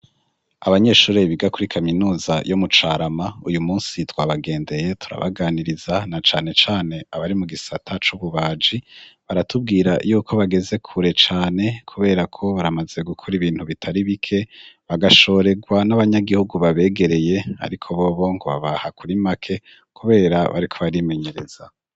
Abanyeshure biga kuri kaminuza yo mu Carama, uyu musi twabagendeye turabaganiriza, na canecane abari mu gisata c'ububaji, baratubwira y'uko bageze kure cane, kubera ko baramaze gukora ibintu bitari bike, bagashorerwa n'abanyagihugu babegereye, ariko bobo ngo babaha kuri make kubera bariko barimenyereza.